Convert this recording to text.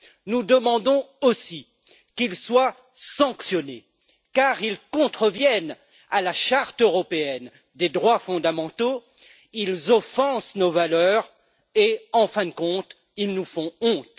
nous demandons aussi qu'ils soient sanctionnés, car ils contreviennent à la Charte européenne des droits fondamentaux, ils offensent nos valeurs et, en fin de compte, ils nous font honte.